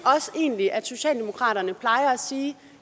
egentlig også at socialdemokraterne plejer at sige at